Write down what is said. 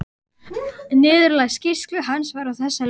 Niðurlag skýrslu hans var á þessa leið